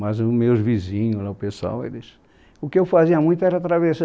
Mas os meus vizinhos lá, o pessoal, eles... O que eu fazia muito era atravessar.